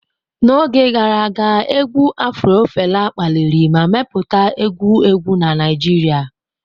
N'oge gara aga, égwù afro Fela kpaliri ma mepụta egwu egwu na Naijiria.